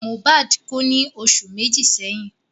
Mohbad kú ní oṣù méjì sẹ́yìn